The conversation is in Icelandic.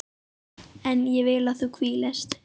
En ég vil að þú hvílist.